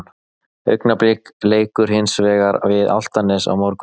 Augnablik leikur hins vegar við Álftanes á morgun.